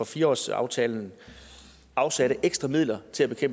fire årsaftalen afsatte ekstra midler til at